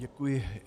Děkuji.